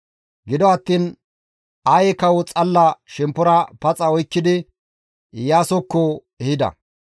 Gido attiin Aye kawo xalla shemppora paxa oykkidi Iyaasokko ehida.